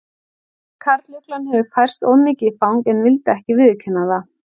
Karluglan hafði færst of mikið í fang en vildi ekki viðurkenna það.